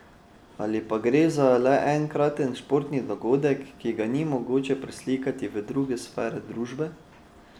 Ali pa gre le za enkraten športni dogodek, ki ga ni mogoče preslikati v druge sfere družbe?